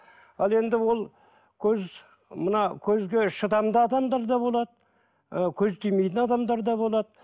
ал енді ол көз мына көзге шыдамды адамдар да болады ы көз тимейтін адамдар да болады